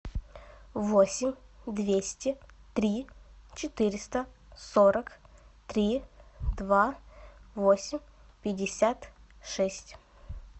восемь двести три четыреста сорок три два восемь пятьдесят шесть